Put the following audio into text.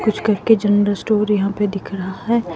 कुछ करके general store यहाँ पे दिख रहा है।